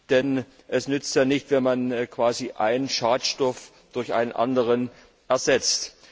Denn es nützt ja nichts, wenn man quasi einen Schadstoff durch einen anderen ersetzt.